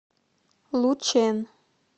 лучэн